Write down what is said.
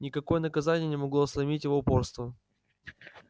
никакое наказание не могло сломить его упорство